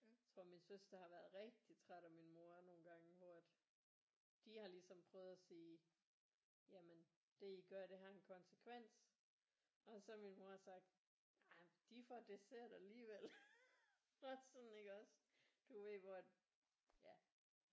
Tror min søster har været rigtig træt af min mor nogle gange hvor at de har ligesom prøvet at sige jamen det I gør det har en konsekvens og så min mor har sagt ej de får dessert alligevel bare sådan iggås du ved hvor at ja